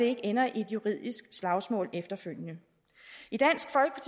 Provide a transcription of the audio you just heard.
ikke ender i et juridisk slagsmål efterfølgende